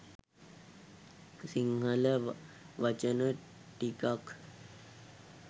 සිංහල වචන ටිකක්